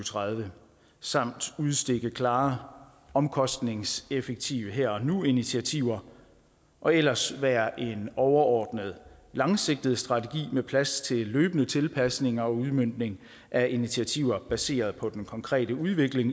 tredive samt udstikke klare omkostningseffektive her og nu initiativer og ellers være en overordnet langsigtet strategi med plads til løbende tilpasninger og udmøntning af initiativer baseret på den konkrete udvikling